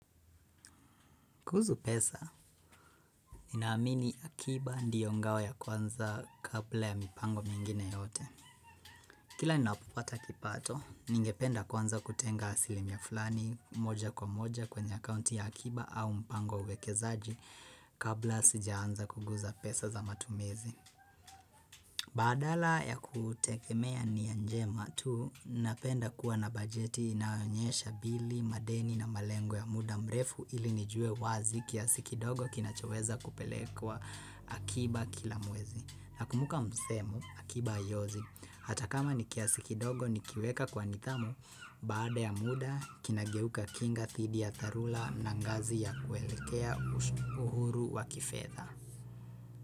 Kuhusu pesa, ninaamini akiba ndiyo ngao ya kwanza kabla ya mipango mingine yote. Kila ninapopata kipato, ningependa kwanza kutenga asilimia fulani moja kwa moja kwenye akaunti ya akiba au mpango wa uwekezaji kabla sijaanza kuguza pesa za matumizi. Badala ya kutegemea nia njema tu napenda kuwa na bajeti inaonyesha bili madeni na malengo ya muda mrefu ili nijue wazi kiasi kidogo kinachoweza kupelekwa akiba kila mwezi. Nakumbuka msemo akiba haiozi hata kama ni kiasi kidogo nikiweka kwa nidhamu baada ya muda kinageuka kinga dhidi ya dharula na ngazi ya kuelekea uhuru wa kifedha.